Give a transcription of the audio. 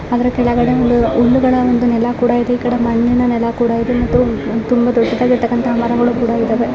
ಅದ್ರ ಕೆಳಗಡೆ ಒಂದು ಹುಲ್ಲುಗಳ ನೆಲ ಕೂಡ ಇದೆ ಈಕಡೆ ಮಣ್ಣಿನ ನೆಲ ಕೂಡ ಇದೆ ಮತ್ತು ತುಂಬಾ ದೊಡ್ಡಗಿರತಕಂತಹ ಮರಗಳು ಕೂಡ ಇದ್ದಾವೆ.